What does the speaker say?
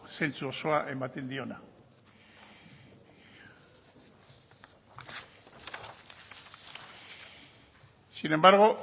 zentzu osoa ematen diona sin embargo